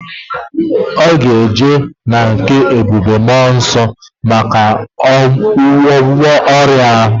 Oga eje na nke ebube mmuo nso maka ogwugwo oria ahu